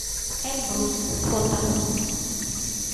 эльбрус фото